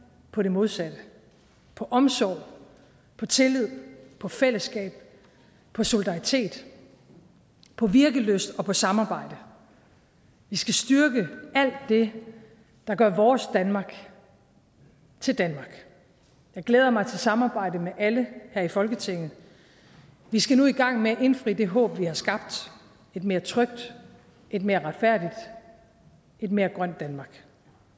på det modsatte på omsorg på tillid på fællesskab på solidaritet på virkelyst og på samarbejde vi skal styrke alt det der gør vores danmark til danmark jeg glæder mig til samarbejdet med alle her i folketinget vi skal nu i gang med at indfri det håb vi har skabt et mere trygt et mere retfærdigt et mere grønt danmark